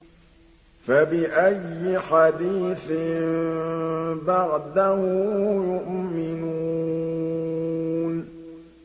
فَبِأَيِّ حَدِيثٍ بَعْدَهُ يُؤْمِنُونَ